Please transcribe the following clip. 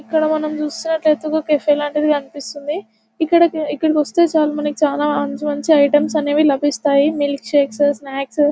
ఇక్కడ మనం చూస్తున్నట్లయితే ఒక కెఫే లాంటిది కనిపిస్తుంది. ఇక్కడికి ఇక్కడికి వస్తే చాలు మంచి మంచి ఐటమ్స్ అనేవి లభిస్తాయి మిల్క్ షేక్స్ స్నాక్స్ --